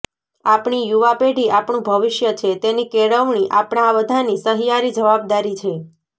આપણી યુવા પેઢી આપણું ભવિષ્ય છે તેની કેળવણી આપણા બધાની સહિયારી જવાબદારી છે